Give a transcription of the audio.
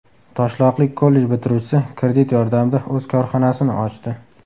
Toshloqlik kollej bitiruvchisi kredit yordamida o‘z korxonasini ochdi.